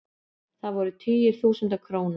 Það voru tugir þúsunda króna.